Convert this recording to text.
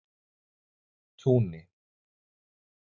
Túni